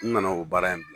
N nana o baara in kɛ bi